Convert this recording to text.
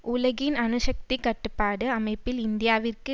உலகின் அணு சக்தி கட்டுப்பாட்டு அமைப்பில் இந்தியாவிற்கு